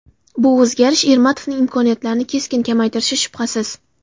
Bu o‘zgarish Ermatovning imkoniyatlarini keskin kamaytirishi shubhasiz.